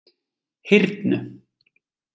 Hyrnu